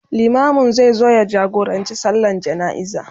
limamin zai zo ya jagorancin sallan jana'iza